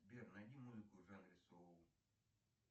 сбер найди музыку в жанре соул